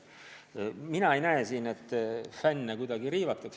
Aga mina ei näe, et fänne on kuidagi riivatud.